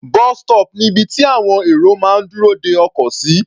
Bus stop ni ibi tí àwọn èrò máa ń dúró de ọkọ̀ sí.